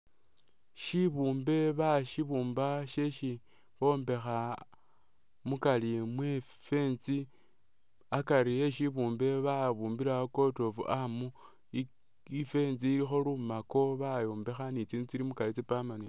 Shibumbe bashibumba shesi bombekha mukari mwe'fence akari eshibumbe babumbilawo coat of arm i'fence ilikho lumako bayombekha ni tsinzu tsili mukari tsa'permanent